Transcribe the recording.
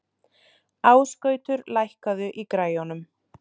Ásgautur, lækkaðu í græjunum.